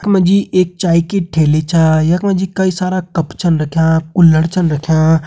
यख मा जी एक चाय की ठेली छा यख मा जी कई सारा कप छन रख्यां कूल्ड छन रख्यां।